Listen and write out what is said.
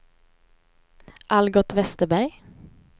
Algot Vesterberg